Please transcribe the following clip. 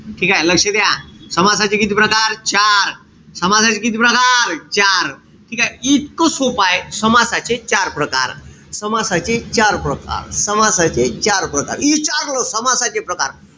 ठीकेय? लक्ष द्या. समासाचे किती प्रकार? चार. समासाचे किती प्रकार? चार. ठीकेय? इतकं सोप्पय. समासाचे चार प्रकार. समासाचे चार प्रकार. समासाचे चार प्रकार. इचारलं समासाचे प्रकार.